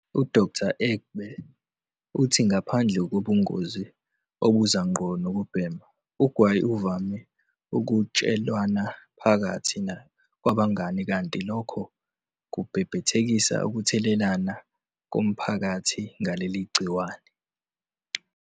U-Dkt. u-Egbe uthi ngaphandle kobungozi obuza ngqo nokubhema, ugwayi uvame ukwatshelwana phakathi kwabangani kanti lokho kubhebhethekisa ukuthelelana komphakathi ngaleli gciwane.